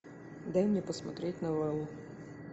дай мне посмотреть новеллу